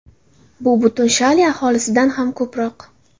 Bu butun Shali aholisidan ham ko‘proq.